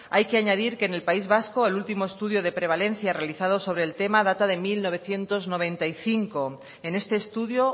hay que añadir que en el país vasco el último estudio de prevalencia realizado sobre el tema data de mil novecientos noventa y cinco en este estudio